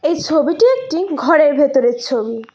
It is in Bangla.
এই ছবিটি একটি ঘরের ভেতরের ছবি।